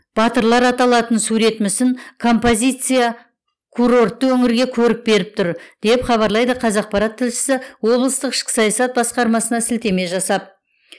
батырлар аталатын сурет мүсін композиция курортты өңірге көрік беріп тұр деп хабарлайды қазақпарат тілшісі облыстық ішкі саясат басқармасына сілтеме жасап